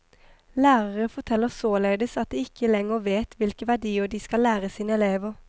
Lærere forteller således at de ikke lenger vet hvilke verdier de skal lære sine elever.